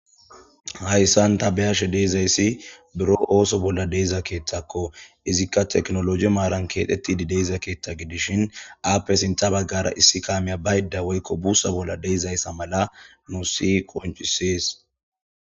Hayissan ta beyashshe dizayissi buro oso bolla de'iza kaththakko izikka technology maran kexetida keththa gidishin appe sinththa bagara Issi kammey bayida woyikko bussa bolla de'izayssa mala nusi qoncisses